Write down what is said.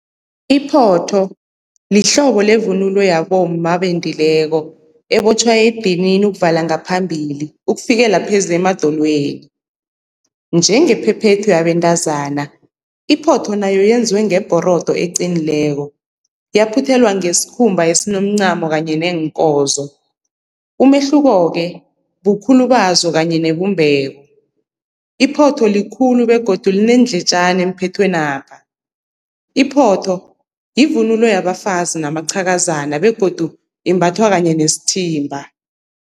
Iphotho lihlobo levunulo yabomma abendileko ebotjhwa edinini ukuvala ngaphambili ukufikela pheze emadolweni. Njengephephethu yabentazana, iphotho nayo yenziwe ngebhorodo eqinileko yaphuthelwa ngesikhumba esinomncamo kanye neenkozo. Umehluko-ke bukhulu bazo kanye nebumbeko, iphotho likhulu begodu lineendletjana emphethweni lapha, iphotho yivunulo yabafazi namaqhakazana begodu imbathwa kanye nesithimba.